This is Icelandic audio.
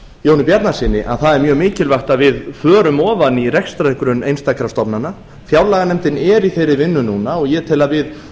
jóni bjarnasyni að það er mjög mikilvægt að við förum ofan í rekstrargrunn einstakra stofnana fjárlaganefndin er í þeirri vinnu núna og ég tel að við